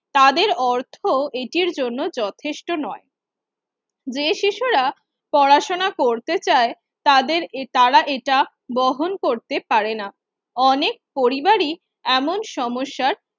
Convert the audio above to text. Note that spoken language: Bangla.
তাদের অর্থ এটির জন্য যথেষ্ট নয়। যে শিশুরা পড়াশুনো করতে চায় তাদের এ তারা এটা বহন করতে পারে না। অনেক পরিবারই এমন সমস্যার